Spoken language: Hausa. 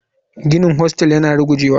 Ginin hostel yana rugujewa.